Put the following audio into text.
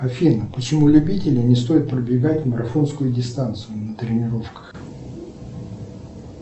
афина почему любителям не стоит пробегать марафонскую дистанцию на тренировках